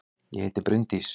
Ég heiti Bryndís!